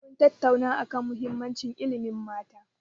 Mun tattauna a kan muhimmanci ilimin mata.